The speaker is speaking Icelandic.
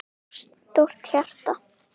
of stórt hjarta